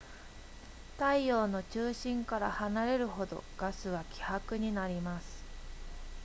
太陽の中心から離れるほどガスは希薄になります